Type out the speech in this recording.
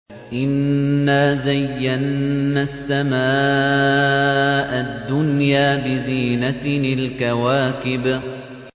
إِنَّا زَيَّنَّا السَّمَاءَ الدُّنْيَا بِزِينَةٍ الْكَوَاكِبِ